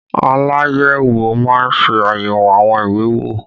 Aláyẹ̀wò má ń ṣe ayẹwo àwọn ìwé owó